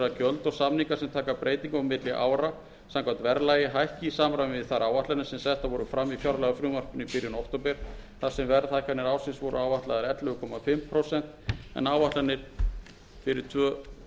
að gjöld og samningar sem taka breytingum á milli ára samkvæmt verðlagi hækki í samræmi við þær áætlanir sem settar voru fram í fjárlagafrumvarpinu í byrjun október þar sem verðhækkanir ársins tvö þúsund og átta voru áætlaðar ellefu og hálft prósent